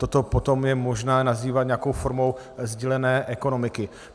Toto potom je možné nazývat nějakou formou sdílené ekonomiky.